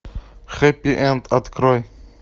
хэппи энд открой